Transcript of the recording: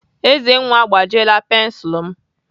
Ezenwa agbajiela pensilu m.